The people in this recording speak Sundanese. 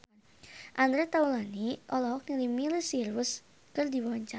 Andre Taulany olohok ningali Miley Cyrus keur diwawancara